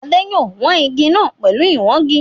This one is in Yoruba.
Adé yòó wan igi náà pẹ̀lú ìwangi